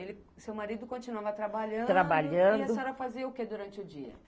ele, o seu marido continuava trabalhando, trabalhando. E a senhora fazia o que durante o dia?